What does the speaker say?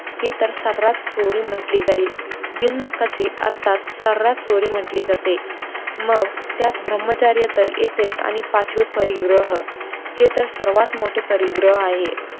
हे तर सऱ्हास चोरी म्हंटली जाईल बिनहक्काचे अर्थात चोरी म्हंटल्या जाते, मग त्यात ब्रम्हचर्य तर येतेच आणि पाचवे परिग्रहः हे तर सर्वात मोठे परिग्रहः आहे